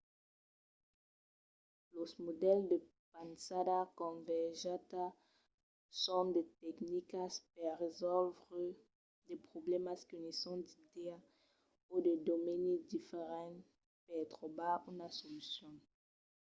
los modèls de pensada convergenta son de tecnicas per resòlvre de problèmas qu'unisson d'idèas o de domenis diferents per trobar una solucion